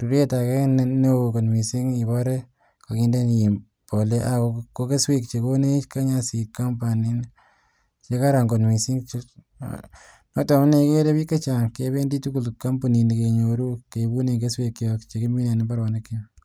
ruret agee neoo kot mising iboree iin koginde mbolea aah ko kesweek chegonech kenya seed company negaran kot mising, noton amunee igeree biik chechang kebendii tuguk kompunii nii kenyoruu keibunen kesweek chook chegimine en imbaronik kyook.